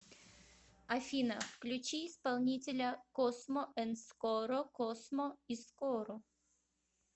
афина включи исполнителя космо энд скоро космо и скоро